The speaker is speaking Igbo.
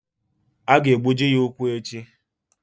A ga-egbuji ya ụkwụ echi.